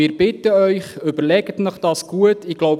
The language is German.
Wir bitten Sie, sich das gut zu überlegen.